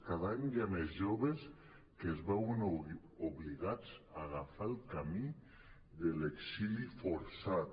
cada any hi ha més joves que es veuen obligats a agafar el camí de l’exili forçat